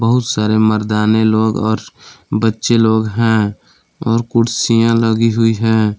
बहुत सारे मर्दाने लोग और बच्चे लोग हैं और कुर्सियां लगी हुई है।